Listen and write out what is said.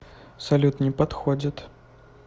салют не подходит